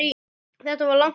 Þetta var langt ferli.